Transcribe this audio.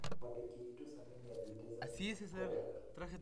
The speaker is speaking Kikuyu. Mwandĩki witũ Sami nĩ athiĩte Zanzibar kwĩrorera.